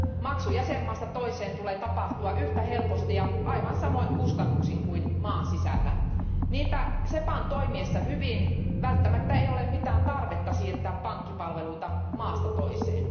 Maksun jäsenmaasta toiseen tulee tapahtua yhtä helposti ja aivan samoin kustannuksin kuin maan sisällä. Niinpä SEPAn toimiessa hyvin ei ole välttämättä mitään tarvetta siirtää pankkipalveluita maasta toiseen.